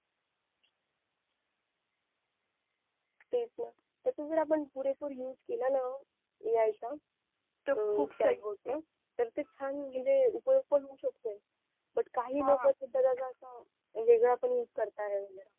तेच ना त्याचा जर आपण पुरे पूर use केला न A I चा तर खूप होते. तर ते छान म्हणजे उपयोग पण होऊ शकते but काही लोक त्याचा असा वेगळा पण use करताय